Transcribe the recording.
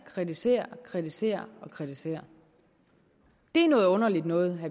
kritiserer kritiserer og kritiserer det er noget underligt noget